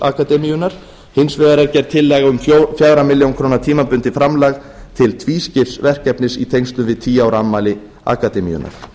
akademíunnar hins vegar er gerð tillaga um fjögur á milljón króna tímabundið framlag til tvískipts verkefnis í tengslum við tíu ára afmæli akademíunnar